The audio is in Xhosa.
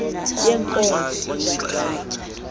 yenkonzo